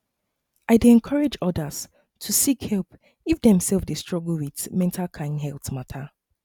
i dey encourage others to seek help if dem um dey struggle with mental um health um